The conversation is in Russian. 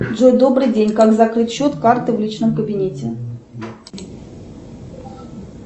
джой добрый день как закрыть счет карты в личном кабинете